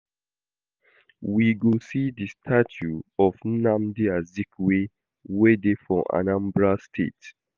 We go see the statue of Nnamdi Azikiwe wey dey for Anambra State